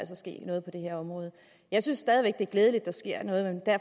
ske noget på det her område jeg synes stadig væk det er glædeligt